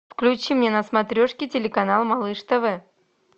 включи мне на смотрешке телеканал малыш тв